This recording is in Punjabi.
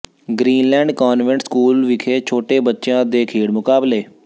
ਗ੍ਰੀਨਲੈਂਡ ਕਾਨਵੈਂਟ ਸਕੂਲ ਵਿਖੇ ਛੋਟੇ ਬੱਚਿਆਂ ਦੇ ਖੇਡ ਮੁਕਾਬਲੇ